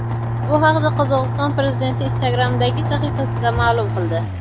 Bu haqda Qozog‘iston prezidenti Instagram’dagi sahifasida ma’lum qildi .